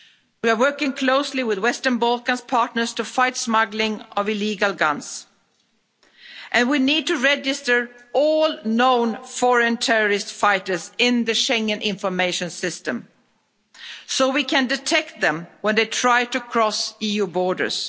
We are working closely with Western Balkans partners to fight the smuggling of illegal guns. And we need to register all known foreign terrorist fighters in the Schengen Information System so that we can detect them when they try to cross EU borders.